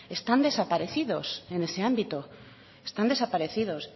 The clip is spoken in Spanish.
están desaparecidos en ese ámbito están desaparecidos